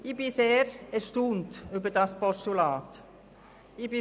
Mich erstaunt dieses Postulat sehr.